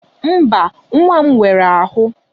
Mba, nwa m nwere ahụ.